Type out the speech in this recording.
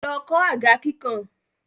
Lọ kọ̀ àga kíkàn!